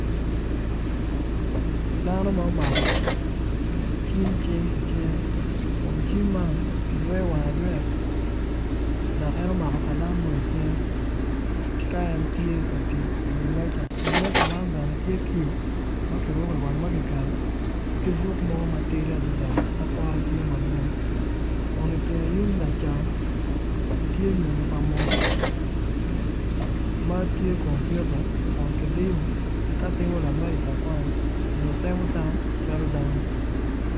Dano ma omako cim cing i cingge kun cim man ki yweyo wangge ayweya dok en omako kalam mo icingge ka en tye ka tic iwi meja, iwi meja man bene tye kiyu ma kiruku i wang ma kiketo ki fuk mo ma poto tidi adida ma pote ti madwong kun itenge yung lacam tye nyonyo pa munu ma tye kumpiuta kun ki diyu ka timo lamed lakwany onyo temo tam calo dano